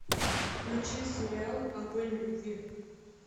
включи сериал огонь любви